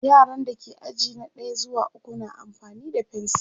yaran da ke aji na ɗaya zuwa ukwu na amfani da fensir